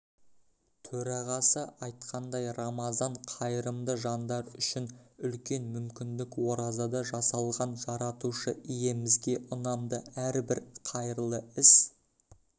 төрағасы айтқандай рамазан қайырымды жандар үшін үлкен мүмкіндік оразада жасалған жаратушы иемізге ұнамды әрбір қайырлы іс